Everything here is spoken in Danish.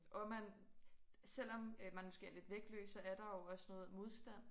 Og man selvom øh man måske er lidt vægtløs så er der jo også noget modstand